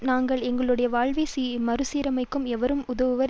நாங்கள் எங்களுடைய வாழ்வை மறுசீரமைக்க எவரும் உதவுவர்